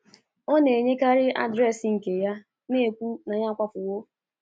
Ọ na-enyekarị adreesị nke ya, na-ekwu na ya akwapụwo.